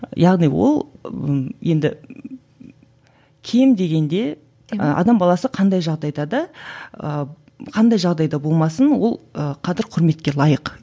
яғни ол ы енді кем дегенде ы адам баласы қандай жағдайда да ыыы қандай жағдайда болмасын ол ы қадір құрметке лайық